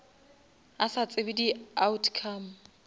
a sa tsebe di outcome